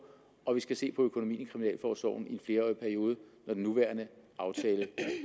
og vi skal se på økonomien i kriminalforsorgen i en flerårig periode når den nuværende aftale